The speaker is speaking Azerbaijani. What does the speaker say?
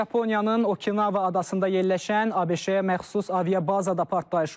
Yaponiyanın Okinawa adasında yerləşən ABŞ-yə məxsus aviabazada partlayış olub.